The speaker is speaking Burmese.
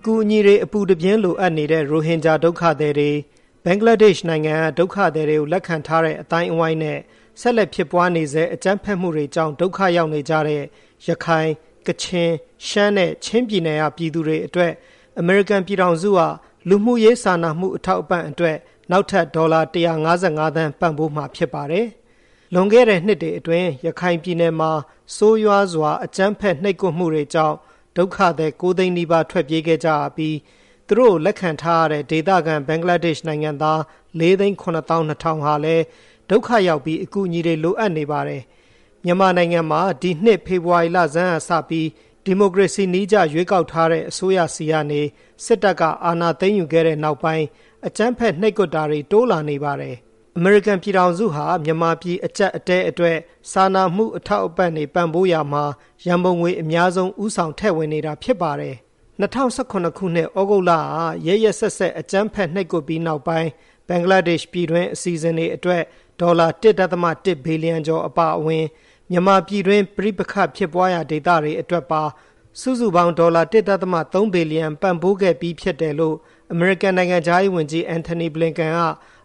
အကူအညီတွေ အပူတပြင်းလိုအပ်နေတဲ့ ရိုဟင်ဂျာဒုက္ခသည်တွေ၊ ဘင်္ဂလားဒက်ရှ်နိုင်ငံက ဒုက္ခသည်တွေကို လက်ခံထားတဲ့ အသိုင်းအဝိုင်းနဲ့ ဆက်လက်ဖြစ်ပွားနေဆဲ၊ အကြမ်းဖက်မှုတွေကြောင့် ဒုက္ခရောက်နေကြတဲ့ ရခိုင်၊ ကချင်၊ ရှမ်းနဲ့ ချင်းပြည်နယ်က ပြည်သူတွေအတွက် အမေရိကန်ပြည်ထောင်စုက လူမှုရေးစာနာမှုအထောက်အပံ့အတွက် နောက်ထပ် ဒေါ်လာ ၁၅၅ သန်းပံ့ပိုးမှာဖြစ်ပါတယ်။ လွန်ခဲ့တဲ့နှစ်တွေအတွင်း ရခိုင်ပြည်နယ်မှာ ဆိုးရွားစွာအကြမ်းဖက်နှိပ်ကွပ်မှုတွေကြောင့် ဒုက္ခသည် ၉ သိန်းနီးပါးထွက်ပြေးခဲ့ကြရပြီး၊ သူတို့ကို လက်ခံထားရတဲ့ဒေသခံ၊ ဘင်္ဂလားဒက်ရှ်နိုင်ငံသား ၄ သိန်း ၇ သောင်း ၂ ထောင်ဟာလည်း ဒုက္ခရောက်ပြီး၊ အကူအညီတွေ လိုအပ်နေပါတယ်။မြန်မာနိုင်ငံမှာ ဒီနှစ် ဖေဖေါ်ဝါရီလဆန်းကစပြီး၊ ဒီမိုကရေစီနည်းကျ ရွေးကောက်ထားတဲ့အစိုးရဆီကနေ စစ်တပ်ကအာဏာသိမ်းယူခဲ့တဲ့ နောက်ပိုင်း အကြမ်းဖက်နှိပ်ကွပ်တာတွေ တိုးလာနေပါတယ်။ အမေရိကန်ပြည်ထောင်စုဟာ မြန်မာပြည်အကျပ်အတည်းအတွက် စာနာမှုအထောက်အပံ့တွေ ပံ့ပိုးရာမှာ ရန်ပုံငွေအများဆုံး၊ ဦးဆောင်ထည့်ဝင်နေတာဖြစ်ပါတယ်။ ၂၀၁၇ ခုနှစ် သြဂုတ်လက ရက်ရက်စက်စက်အကြမ်းဖက် နှိပ်ကွပ်ပြီးနောက်ပိုင်း၊ ဘင်္ဂလားဒက်ရှ်ပြည်တွင်း အစီအစဉ်တွေအတွက် ဒေါ်လာ ၁.၁ ဘီလီယံကျော် အပါအဝင်၊ မြန်မာပြည်တွင်း ပဋိပက္ခဖြစ်ပွားရာဒေသတွေအတွက်ပါ စုစုပေါင်းဒေါ်လာ ၁.၃ ဘီလီယံ ပံ့ပိုးခဲ့ပြီးဖြစ်တယ်လို့ အမေရိကန်နိုင်ငံခြားရေးဝန်ကြီး Antony Blinken က